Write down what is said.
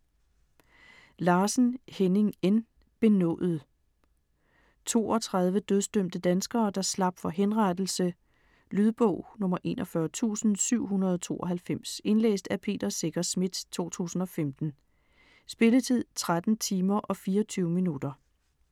Larsen, Henning N.: Benådet 32 dødsdømte danskere, der slap for henrettelse. Lydbog 41792 Indlæst af Peter Secher Schmidt, 2015. Spilletid: 13 timer, 24 minutter.